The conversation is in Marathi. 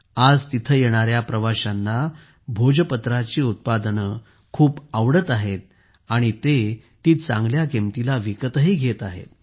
आज येथे येणाऱ्या प्रवाशांना भोजपत्राची उत्पादने खूप आवडत आहेत आणि ते ती चांगल्या किमतीला विकतही घेत आहेत